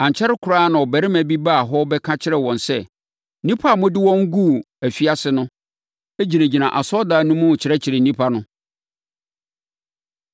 Ankyɛre koraa na ɔbarima bi baa hɔ bɛka kyerɛɛ wɔn sɛ, “Nnipa a mode wɔn guu afiase no gyinagyina asɔredan no mu rekyerɛkyerɛ nnipa no.”